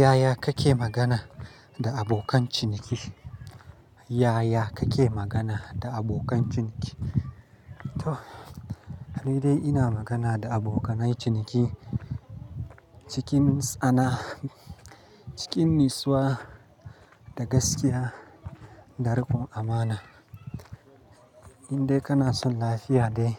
Yaya kake magana da abokan ciniki? Yaya kake magana da abokan ciniki? To, ni dai ina magana da abokanai ciniki cikin tsana, cikin nitsuwa da gaskiya da rikon amana. In dai kana son lafiya dai,